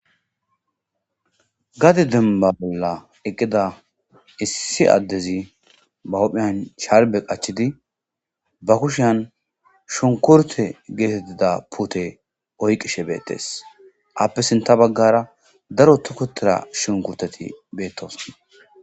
Gadi denba bolla eqqida issi addezi ba hupheyan charbe qachidi ba kushian shunkurte geetettida pute oyqishe beettees appe sinta baggara daro tukotera shunkurteti beettos.